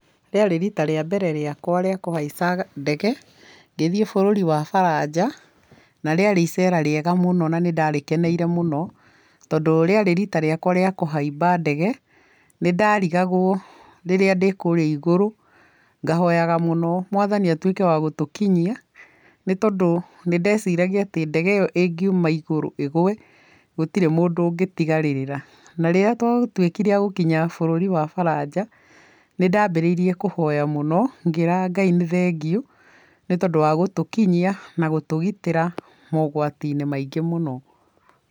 Rĩarĩ rita rĩa mbere rĩakwa rĩa kũhaica ndege, ngĩthiĩ bũrũri wa Baranja, na rĩarĩ iceera rĩega mũno na nĩ ndarĩkeneire mũno, tondũ rĩarĩ rita rĩakwa rĩa kũhaimba ndege. Nĩndarigagwo rĩrĩa ndĩ kũrĩa igũrũ, ngahoyaga mũno mwathani atuĩke wa gũtũkinyia, nĩ tondũ nĩ ndeciragia atĩ ndege ĩyo ĩngiuma igũrũ ĩgwe, gũtirĩ mũndũ ũngĩtigarĩrĩra na rĩrĩa twatuĩkire a gũkinya bũrũri wa Baranja, nĩ ndambĩrĩirie kũhoya mũno, ngĩraga Ngai nĩ thengiũ, nĩ tondũ wa gũtũkinyia na gũtũgitĩra mogwati-inĩ maingĩ mũno.